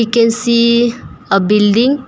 We can see a building.